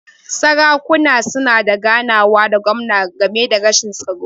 Sarakuna suna da ganawa da gwamna game da rashin tsaro.